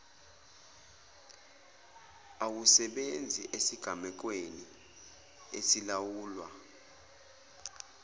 awusebenzi esigamekweni esilawulwa